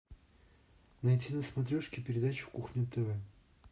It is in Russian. найти на смотрешке передачу кухня тв